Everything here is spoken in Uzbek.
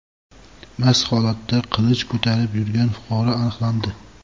mast holatda qilich ko‘tarib yurgan fuqaro aniqlandi.